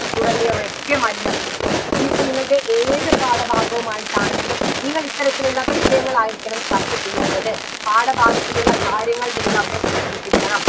തുടങ്ങിയവയൊക്കെ മലിനപ്പെട്ടു ഇനി ഇപ്പൊ നിങ്ങളുടെ ഏത് പാഠഭാഗവുമായിട്ടാണെങ്കിലും നിങ്ങൾ ഇത്തരത്തിലുള്ള വിഷയങ്ങളായിരിക്കണം ചർച്ച ചെയ്യേണ്ടത് പാഠഭാഗത്തിലുള്ള കാര്യങ്ങൾ നിങ്ങൾ അവിടെ സൂചിപ്പിക്കണം